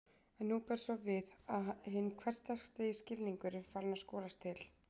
En nú ber svo við að hinn hversdagslegi skilningur er farinn að skolast til.